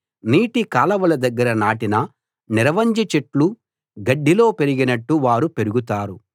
నీటి కాలవల దగ్గర నాటిన నిరవంజి చెట్లు గడ్డిలో పెరిగినట్టు వారు పెరుగుతారు